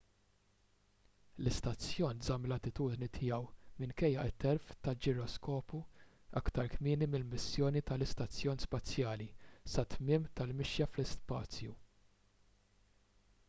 l-istazzjon żamm l-attitudni tiegħu minkejja t-telf tal-ġiroskopju aktar kmieni fil-missjoni tal-istazzjon spazjali sat-tmiem tal-mixja fl-ispazju